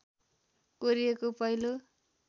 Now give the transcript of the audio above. कोरिएको पहिलो